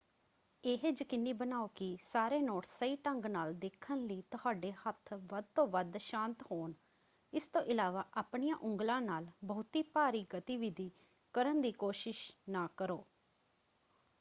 ਇਹ ਯਕੀਨੀ ਬਣਾਓ ਕਿ ਸਾਰੇ ਨੋਟਸ ਸਹੀ ਢੰਗ ਨਾਲ ਦੇਖਣ ਲਈ ਤੁਹਾਡੇ ਹੱਥ ਵੱਧ ਤੋਂ ਵੱਧ ਸ਼ਾਂਤ ਹੋਣ – ਇਸ ਤੋਂ ਇਲਾਵਾ ਆਪਣੀਆਂ ਉਂਗਲਾਂ ਨਾਲ ਬਹੁਤੀ ਭਾਰੀ ਗਤੀਵਿਧੀ ਕਰਨ ਦੀ ਕੋਸ਼ਿਸ਼ ਨਾ ਕਰੋ।